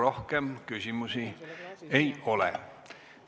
Rohkem küsimusi teile ei ole.